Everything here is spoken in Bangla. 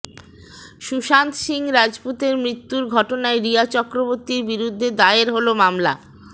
সুশান্ত সিং রাজপুতের মৃত্যুর ঘটনায় রিয়া চক্রবর্তীর বিরুদ্ধে দায়ের হল মামলা